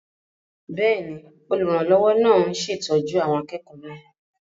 Bẹ́ẹ̀ni, olùrànlọ́wọ́ náà ń ṣètọ́jú àwọn akẹ́kọ̀ọ́ náà